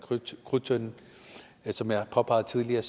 krudttønden men som jeg har påpeget tidligere